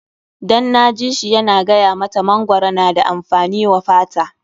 Dan na ji shi yana gaya mata mangwaro na da amfani wa fata.